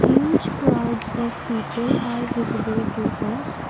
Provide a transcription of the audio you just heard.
huge crowds of people are visible to us.